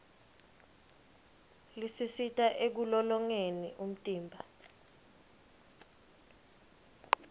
lisisita ekulolongeni umtimba